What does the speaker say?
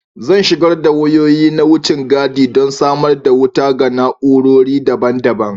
Zan shigar da wayoyi na wucin gadi don samar da wuta ga na'urori daban-daban